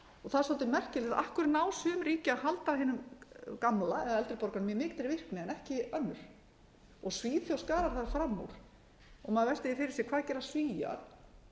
það er svolítið merkilegt af hverju ná sum ríki að halda hinum gamla eða eldri borgaranum í mikilli virkni en ekki önnur svíþjóð skarar þar fram úr maður veltir því fyrir sér hvað gera svíar